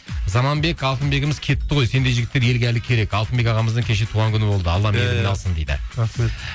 заманбек алтынбегіміз кетті ғой сендей жігіттер елге әлі керек алтынбек ағамыздың кеше туған күні болды алла алсын дейді рахмет